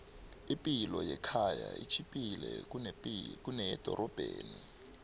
ipilo yekhaya itjhiphile kuneyedorobheni